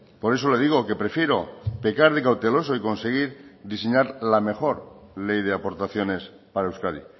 por eso le digo que prefiero pecar de cauteloso y conseguir diseñar la mejor ley de aportaciones para euskadi